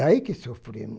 Daí que sofremo.